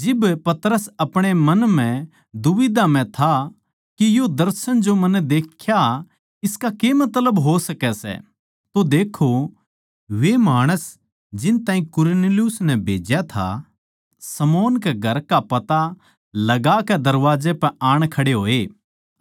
जिब पतरस अपणे मन म्ह दुबिध्या म्ह था के यो दर्शन जो मन्नै देख्या इसका के मतलब हो सकै सै तो देक्खो वे माणस जिन ताहीं कुरनेलियुस नै भेज्या था शमौन कै घर का पता लगाकै दरबाजे पै आण खड़े होए